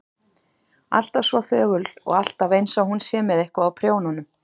Alltaf svo þögul og alltaf einsog hún sé með eitthvað á prjónunum.